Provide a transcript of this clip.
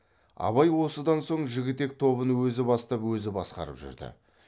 абай осыдан соң жігітек тобын өзі бастап өзі басқарып жүрді